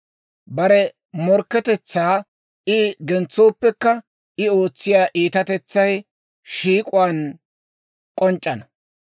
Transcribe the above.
Bare morkketetsaa I gentsooppekka, I ootsiyaa iitatetsay shiik'uwaan k'onc'c'ana.